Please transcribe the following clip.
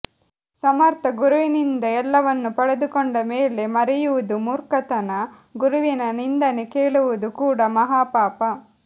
ಸಮರ್ಥ ಗುರುವಿನಿಂದ ಎಲ್ಲವನ್ನು ಪಡೆದಕೊಂಡ ಮೇಲೆ ಮರೆಯುವುದು ಮುರ್ಖತನ ಗುರುವಿನ ನಿಂದನೆ ಕೇಳುವುದು ಕೂಡಾ ಮಹಾಪಾಪ